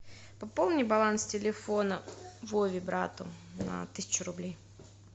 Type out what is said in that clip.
пополни баланс телефона вове брату на тысячу рублей